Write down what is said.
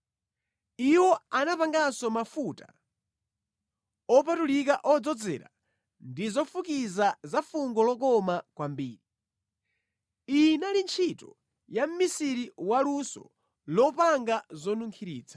Iwo anapanganso mafuta opatulika odzozera ndi zofukiza za fungo lokoma kwambiri. Iyi inali ntchito ya mʼmisiri waluso lopanga zonunkhiritsa.